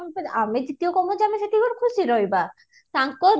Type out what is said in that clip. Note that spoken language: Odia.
ଫିର ଆମେ ଯେତିକି କମଉଛେ ଆମେ ସେତିକିରେ ଖୁସିରେ ରହିବା ତାଙ୍କ life